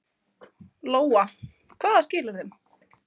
Lóa: Hvaða skilyrðum?